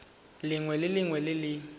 lengwe le lengwe le le